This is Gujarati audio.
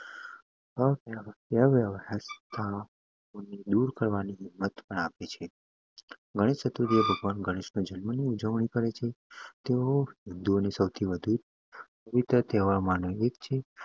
અવ્યવસ્થાઓને દૂર કરવાની હિંમત આપે છે. ગણેશ ચતુર્થી એ ભગવાન ગણેશના જન્મ ની ઉજવણી કરે છે તેઓ તેહવાર માનો એક છે